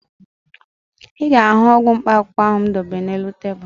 Ị ga-ahụ ọgwụ mkpaakwụkwọ m debere n'elu tebulu